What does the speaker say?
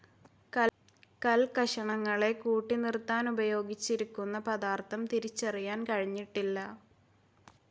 കൽക്കഷണങ്ങളെ കൂട്ടിനിർത്താനുപയോഗിച്ചിരിക്കുന്ന പദാർത്ഥം തിരിച്ചറിയാൻ കഴിഞ്ഞിട്ടില്ല.